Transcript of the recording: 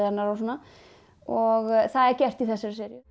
hennar og svona og það er gert í þessari seríu